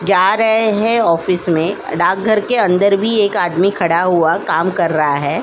जा रहे है ऑफिस में डाक घर के एक अंदर भी एक आदमी खड़ा हुआ काम कर रहा हैं।